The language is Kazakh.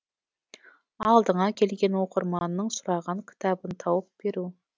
алдыңа келген оқырманның сұраған кітабын тауып беру